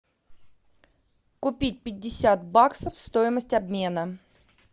купить пятьдесят баксов стоимость обмена